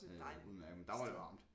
Og udemærket men der var det varmt